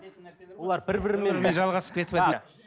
олар бір бірімен жалғасып кетіп